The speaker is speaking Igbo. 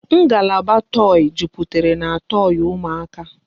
Ngalaba toi jupụtara n'toi ụmụaka